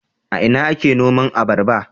A ina ake noman abarba?